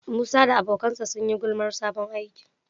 Musa da abokansa sun yi gulmar sabon aikin.